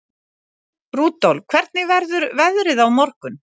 Rudolf, hvernig verður veðrið á morgun?